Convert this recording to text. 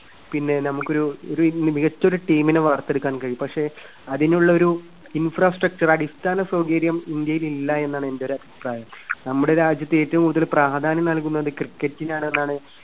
പിന്നെ നമുക്കൊരു ഒരു മികച്ചൊരു team നെ വാർത്തെടുക്കാൻ കഴിയും. പക്ഷേ അതിനുള്ള ഒരു infrastructure അടിസ്ഥാന സൗകര്യം ഇന്ത്യയിൽ ഇല്ല എന്നാണ് എന്റെയൊരു അഭിപ്രായം. നമ്മുടെ രാജ്യത്ത് ഏറ്റവും കൂടുതല് പ്രാധാന്യം നൽകുന്നത് Cricket നാണ് എന്നാണ്